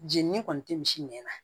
Jenini kɔni tɛ misi nɛn na